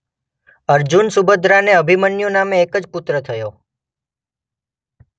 અર્જુન સુભદ્રાને અભિમન્યુ નામે એક જ પુત્ર થયો.